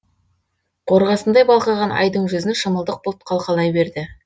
қорғасындай балқыған айдың жүзін шымылдық бұлт қалқалай берді